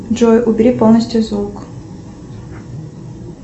джой убери полностью звук